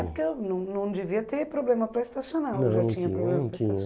É, porque não não devia ter problema para estacionar, ou já tinha problema para